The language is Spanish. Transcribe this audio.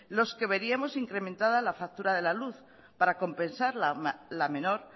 los que veríamos incrementada la factura de la luz para compensar la menor